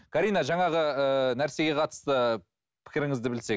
карина жаңығы ыыы нәрсеге қатысты пікіріңізді білсек